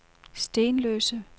Stenløse